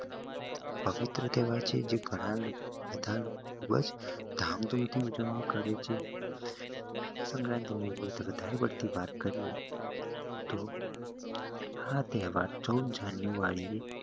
પવિત્ર તહેવાર છે જે ગણા લોકો બધા ખુબજ ધામ ધુમ થી ઉજવણી કરે છે મકર સંક્રાંતિ વાત કરીયે તોહ આ તેહવાર ચૌદમી જાન્યુઆરી એ